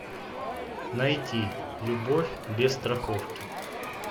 найти любовь без страховки